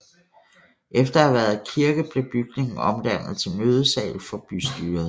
Efter at have været kirke blev bygningen omdannet til mødesal for bystyret